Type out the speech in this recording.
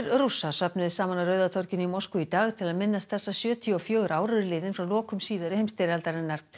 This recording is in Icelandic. Rússa söfnuðust saman á Rauða torginu í Moskvu í dag til að minnast þess að sjötíu og fjögur ár eru liðin frá lokum síðari heimsstyrjaldarinnar